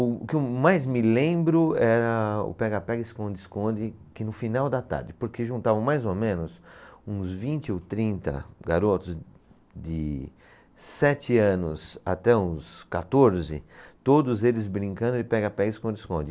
O o que eu mais me lembro era o pega-pega, esconde-esconde que no final da tarde, porque juntavam mais ou menos uns vinte ou trinta garotos de sete anos até os quatorze, todos eles brincando de pega-pega e esconde-esconde.